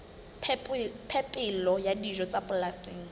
phepelo ya dijo tsa polasing